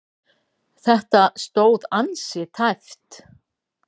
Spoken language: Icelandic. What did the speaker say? Þetta stóð ansi tæpt.